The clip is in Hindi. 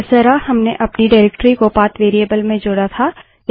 जिस तरह हमने अपनी निर्देशिकाडाइरेक्टरी को पाथ वेरिएबल में जोड़ा था